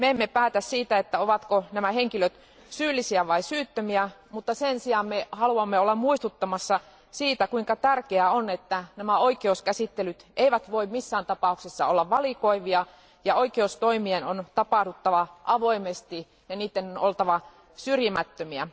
Me emme päätä siitä, ovatko nämä henkilöt syyllisiä vai syyttömiä, mutta sen sijaan me haluamme olla muistuttamassa siitä, kuinka tärkeää on, että nämä oikeuskäsittelyt eivät voi missään tapauksessa olla valikoivia ja oikeustoimien on tapahduttava avoimesti ja niiden on oltava syrjimättömiä.